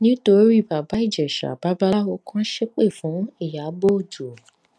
nítorí baba ìjèṣà babaláwo kan ṣépè fún ìyàbọ ọjọ